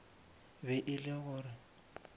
be e le gore o